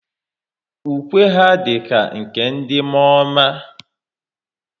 Ukwe ha dịka nke ndị mụọọma